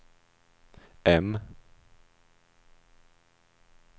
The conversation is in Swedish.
M